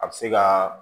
A bɛ se ka